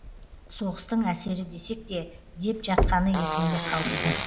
соғыстың әсері десек те деп жатқаны есімде қалыпты